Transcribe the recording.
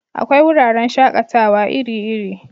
Akwai wuraren shakatawa iri iri